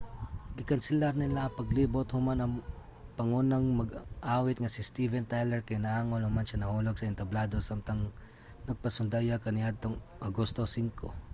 gikanselar nila ang paglibot human ang pangunang mag-aawit nga si steven tyler kay naangol human siya nahulog sa entablado samtang nagpasundayag kaniadtong agosto 5